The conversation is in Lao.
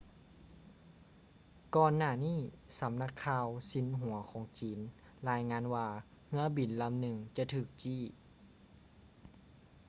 ກ່ອນໜ້ານີ້ສຳນັກຂ່າວຊິນຫົວຂອງຈີນລາຍງານວ່າເຮືອບິນລຳໜຶ່ງຈະຖືກຈີ້